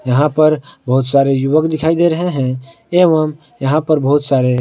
यहां पर बहुत सारे युवक दिखाई दे रहे हैं एवं यहां पर बहुत सारे--